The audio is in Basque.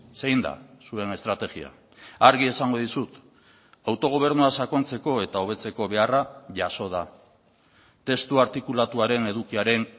zein da zuen estrategia argi esango dizut autogobernua sakontzeko eta hobetzeko beharra jaso da testu artikulatuaren edukiaren